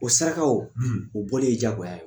O saraka o, , o bɔli ye diyagoya ye?